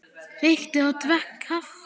Reykti og drakk kaffi.